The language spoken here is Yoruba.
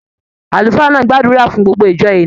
Àlùfáà náà ti gbàdúrà fún gbogbo ìjọ ènìyàn.